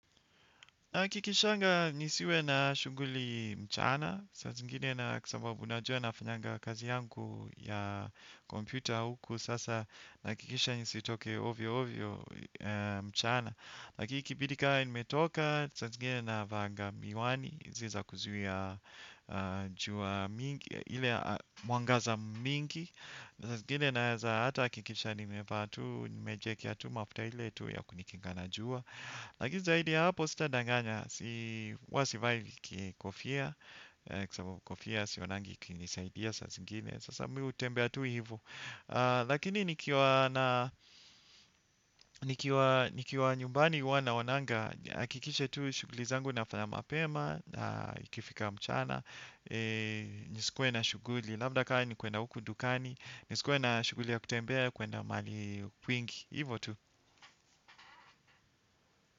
Na kikishangaa nisiwe na shughuli mchana, saa zingine na kwa sababu najua nafanyanga kazi yangu ya kompyuta huku sasa na hakikisha nisioke ovyo ovyo mchana. Lakini ikibidi kama nimetoka, saa zingine na vaanga miwani, zile za kuzuia jua mingi, ile mwangaza mingi, saa zingine naweza hata hikikisha nimepatu, nimejiekea tu mafuta ile tu ya kujikinga na jua. Lakini zaidi ya hapo sita danganya huwa sivai kofia kwa sababu kofia sionangi ikinisaidia sa zingine sasa mimi hutembea tu hivo. Lakini nikiwa nyumbani huwa naonanga hkikishe tu shughuli zangu nafanya mapema na ikifika mchana. Nisikuwe na shughuli. Labda kaa ni kuenda huku Dukani. Nisikwe na shuguli ya kutembea kuenda mahali kwingi. Hivo tu.